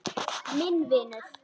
Minn vinur.